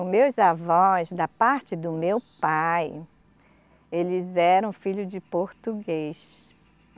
Os meus avós, da parte do meu pai, eles eram filho de português.